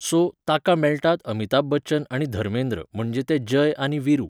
so, ताका मेळटात अमिताभ बच्चन आनी धर्मेंद्र म्हणजे ते जय आनी विरू